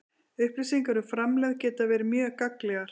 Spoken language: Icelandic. Upplýsingar um framlegð geta verið mjög gagnlegar.